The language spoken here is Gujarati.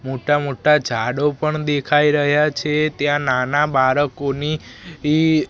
મોટા મોટા ઝાડો પણ દેખાય રહ્યા છે ત્યાં નાના બાળકોની